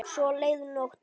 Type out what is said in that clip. Svo leið nóttin.